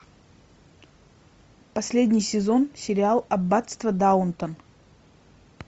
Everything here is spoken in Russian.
последний сезон сериал аббатство даунтон